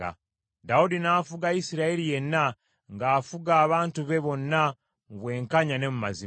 Dawudi n’afuga Isirayiri yenna, ng’afuga abantu be bonna mu bwenkanya ne mu mazima.